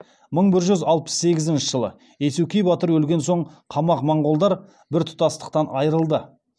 мың бір жүз алпыс сегізінші жылы иесукей батыр өлген соң қамағ моңғолдар бір тұтастықтан айырылады